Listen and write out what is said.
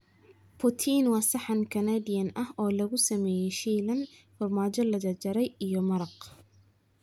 Poutine waa saxan Canadian ah oo lagu sameeyay shiilan, farmaajo la jarjaray, iyo maraq.